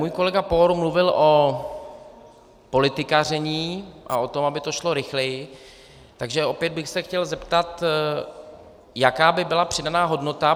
Můj kolega Pour mluvil o politikaření a o tom, aby to šlo rychleji, takže opět bych se chtěl zeptat, jaká by byla přidaná hodnota.